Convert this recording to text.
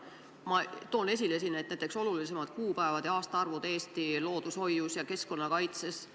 Ma toon esile näiteks olulisimad kuupäevad ja aastaarvud Eesti loodushoius ja keskkonnakaitses.